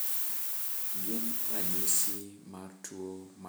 Gin ranyisis mar tuo Maple syrup urine kido mar 1A?